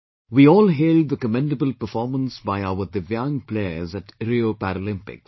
We all hailed the commendable performance by our Divyang Players at Rio Paralympics